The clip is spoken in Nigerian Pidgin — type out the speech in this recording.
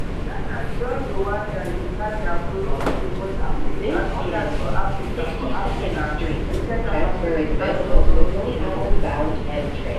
ghana join rwanda uganda burundi mozambique and odas for africa for africa wey get affirmative action laws wey dey work